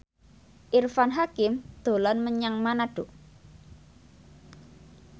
Irfan Hakim dolan menyang Manado